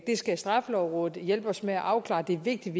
det skal straffelovrådet hjælper os med at afklare det er vigtigt